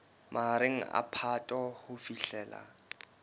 mahareng a phato ho fihlela